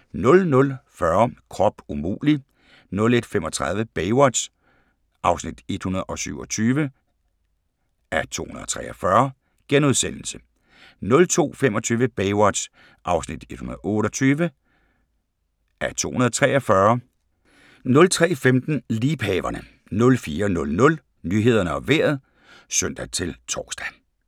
00:40: Krop umulig! 01:35: Baywatch (127:243)* 02:25: Baywatch (128:243)* 03:15: Liebhaverne 04:00: Nyhederne og Vejret (søn-tor)